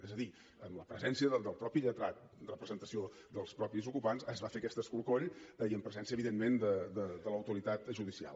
és a dir amb la presència del mateix lletrat en representació dels mateixos ocupants es va fer aquest escorcoll i en presència evidentment de l’autoritat judicial